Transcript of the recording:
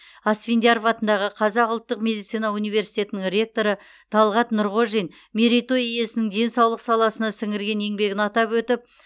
асфендияров атындағы қазақ ұлттық медицина университетінің ректоры талғат нұрғожин мерей той иесінің денсаулық саласына сіңірген еңбегін атап өтіп